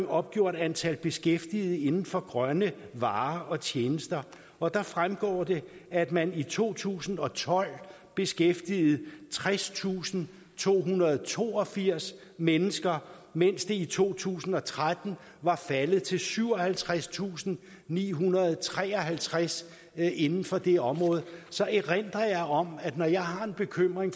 opgjort antallet af beskæftigede inden for grønne varer og tjenester og der fremgår det at man i to tusind og tolv beskæftigede tredstusinde og tohundrede og toogfirs mennesker mens det i to tusind og tretten var faldet til syvoghalvtredstusinde og nihundrede og treoghalvtreds inden for det område så erindrer jeg om når jeg har en bekymring